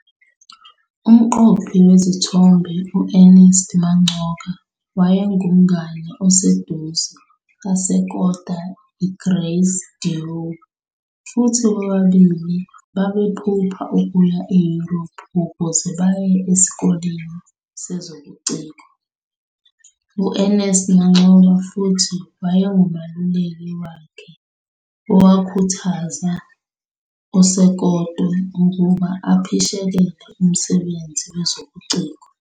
Umqophi wezithombe U-Ernest Mancoba wayengumngane oseduze kaSekoto e-Grace Dieu, futhi bobabili babephupha ukuya eYurophu ukuze baye esikoleni sezobuciko. U-Ernest Mancoba futhi wayengumeluleki wakhe owakhuthaza uSokoto ukuba aphishekele umsebenzi wezobuciko.